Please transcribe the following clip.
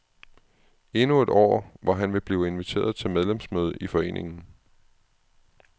Endnu et år, hvor han vil blive inviteret til medlemsmøde i foreningen.